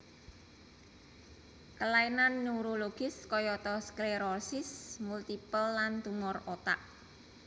Kelainan neurologis kayata sklerosis multipel lan tumor otak